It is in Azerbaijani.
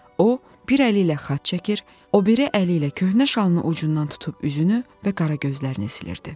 O bir əli ilə xaç çəkir, o biri əli ilə köhnə şalının ucundan tutub üzünü və qara gözlərini silirdi.